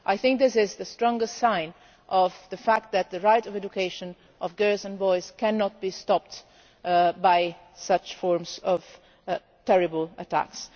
I think this is the strongest sign of the fact that the right to education of girls and boys cannot be stopped by such terrible attacks.